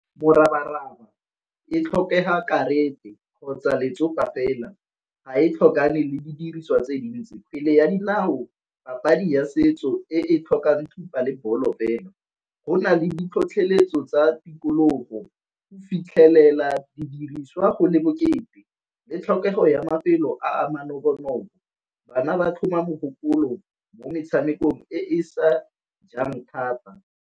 Morabaraba e tlhokega kgotsa letsopa fela ga e tlhokane le di diriswa tse dintsi. Kgwele ya dinao papadi ya setso e tlhokang thupa le bolo fela. Go na le di tlhotlheletso tsa tikologo, fitlhelela didiriswa go le bokete, le tlhokego ya mafelo a manobonobo. Bana ba tlhoma mogopolo mo metshamekong e e sa jang thata.